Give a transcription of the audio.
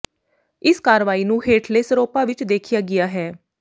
ਇਸ ਕਾਰਵਾਈ ਨੂੰ ਹੇਠਲੇ ਸਰੋਪਾ ਵਿਚ ਦੇਖਿਆ ਗਿਆ ਹੈ